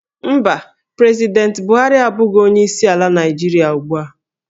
Mba, President Buhari abụghị onye isi ala Nigeria ugbu a